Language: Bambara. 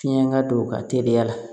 Fiɲɛ ka don u ka teliya la